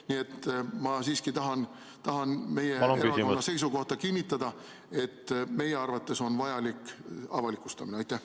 Nii et ma siiski tahan meie erakonna seisukohta kinnitada, et meie arvates on avalikustamine vajalik.